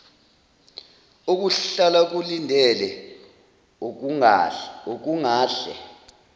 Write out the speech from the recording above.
okuhlala kulindele okungahle